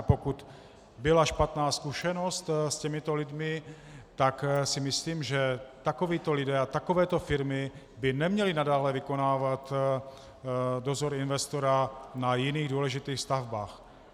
A pokud byla špatná zkušenost s těmito lidmi, tak si myslím, že takovíto lidé a takovéto firmy by neměli nadále vykonávat dozor investora na jiných důležitých stavbách.